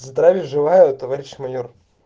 здравия желаю товарищ майор